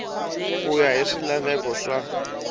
ku ya hi swilaveko swa